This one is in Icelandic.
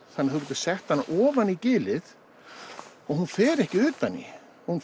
þú getur sett hana ofan í gilið og hún fer ekki utan í hún